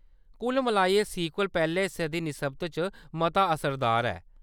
कुल मलाइयै, सीक्वल पैह्‌‌‌ले हिस्से दी निस्बत च मता असरदार ऐ।